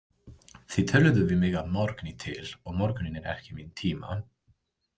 Þið töluðuð við mig að morgni til og morgunninn er ekki minn tíma.